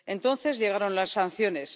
Entonces llegaron las sanciones.